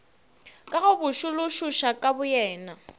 ka go botšološoša ka boyena